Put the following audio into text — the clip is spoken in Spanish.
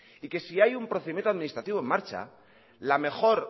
y que si hay procedimiento administrativo en marcha la mejor